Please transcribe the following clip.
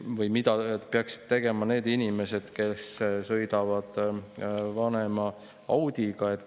Või mida peaksid tegema need inimesed, kes sõidavad vanema Audiga?